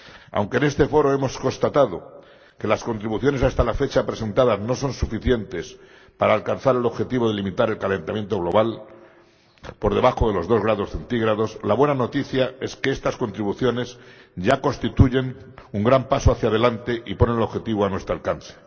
Aunque en este foro hemos constatado que las contribuciones hasta la fecha presentadas no son suficientes para alcanzar el objetivo de limitar el calentamiento global por debajo de los dos grados centígrados, la buena noticia es que estas contribuciones ya constituyen un gran paso hacia adelante y ponen el objetivo a nuestro alcance.